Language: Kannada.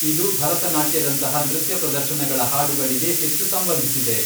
ಇದು ಭರತನಾಟ್ಯದಂತಹ ನೃತ್ಯ ಪ್ರದರ್ಶನಗಳ ಹಾಡುಗಳಿಗೆ ಹೆಚ್ಚು ಸಂಬಂಧಿಸಿದೆ.